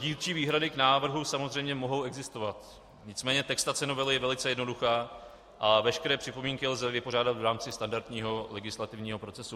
Dílčí výhrady k návrhu samozřejmě mohou existovat, nicméně textace novely je velice jednoduchá a veškeré připomínky lze vypořádat v rámci standardního legislativního procesu.